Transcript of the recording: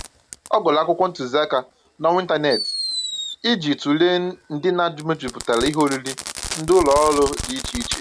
Ọ gụrụ akwụkwọ ntụziaka n'ọwa ịntaneetị iji tụlee ndịna mejupụtara ihe oriri ndị ụlọ ọrụ dị iche iche